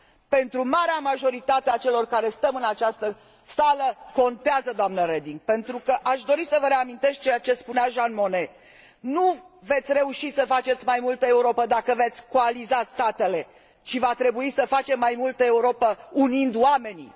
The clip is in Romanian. Pentru marea majoritate a celor care stăm în această sală contează, doamnă Reding, pentru că aș dori să vă reamintesc ceea ce spunea Jean Monnet nu veți reuși să faceți mai multă Europă dacă veți coaliza statele, ci va trebui să facem mai multă Europă unind oamenii.